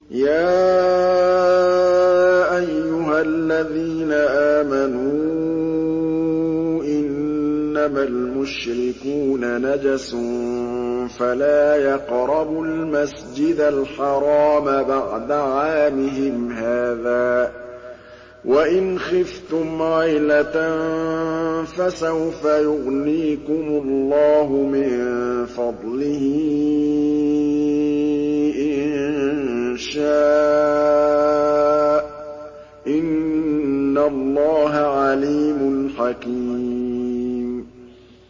يَا أَيُّهَا الَّذِينَ آمَنُوا إِنَّمَا الْمُشْرِكُونَ نَجَسٌ فَلَا يَقْرَبُوا الْمَسْجِدَ الْحَرَامَ بَعْدَ عَامِهِمْ هَٰذَا ۚ وَإِنْ خِفْتُمْ عَيْلَةً فَسَوْفَ يُغْنِيكُمُ اللَّهُ مِن فَضْلِهِ إِن شَاءَ ۚ إِنَّ اللَّهَ عَلِيمٌ حَكِيمٌ